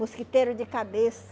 Mosquiteiro de cabeça.